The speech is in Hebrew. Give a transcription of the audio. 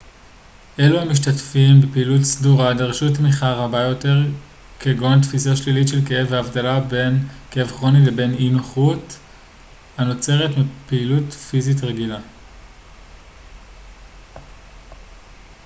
אלו המשתתפים בפעילות סדורה דרשו תמיכה רבה יותר בנושאים כגון תפישה שלילית של כאב והבדלה בין כאב כרוני לבין אי-נוחות הנוצרת מפעילות פיזית רגילה